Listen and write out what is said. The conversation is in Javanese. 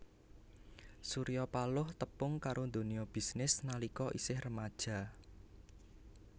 Surya Paloh tepung karo donya bisnis nalika isih remaja